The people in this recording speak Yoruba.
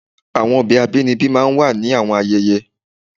Awọn ọbẹ abinibi máà ń wa ni awọn ayẹyẹ